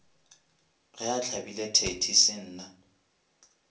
ge a hlabile thedi senna